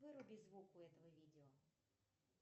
выруби звук у этого видео